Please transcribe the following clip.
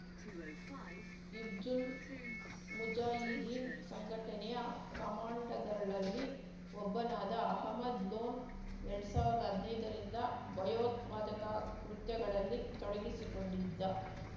ಹಿಜ್ಜುಲ್‌ ಮುಜಾಹಿದೀನ್‌ ಸಂಘಟನೆಯ ಕಮಾಂಡಗಳಲ್ಲಿ ಒಬ್ಬನಾದ ಅಹಮದ್‌ ಲೋನ್‌ ಎರಡ್ ಸಾವಿರ್ದಾ ಹದ್ನೈದರಿಂದ ಭಯೋತ್ಪಾದಕ ಕೃತ್ಯಗಳಲ್ಲಿ ತೊಡಗಿಸಿಕೊಂಡಿದ್ದ